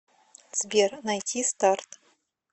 сбер найти старт